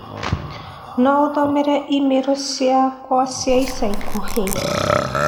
no ũthomere i-mīrū ciakwa cia ica ikuhĩ